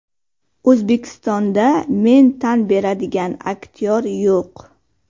O‘zbekistonda men tan beradigan aktyor yo‘q.